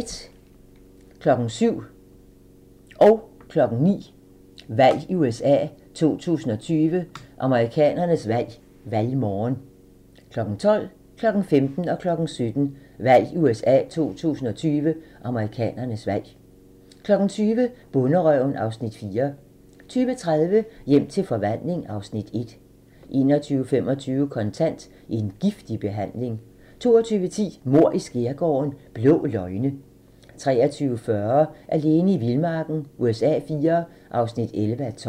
07:00: Valg i USA 2020: Amerikanernes valg - valgmorgen 09:00: Valg i USA 2020: Amerikanernes valg - valgmorgen 12:00: Valg i USA 2020: Amerikanernes valg 15:00: Valg i USA 2020: Amerikanernes valg 17:00: Valg i USA 2020: Amerikanernes valg 20:00: Bonderøven (Afs. 4) 20:30: Hjem til forvandling (Afs. 1) 21:25: Kontant: En giftig behandling 22:10: Mord i skærgården: Blå løgne 23:40: Alene i vildmarken USA IV (11:12)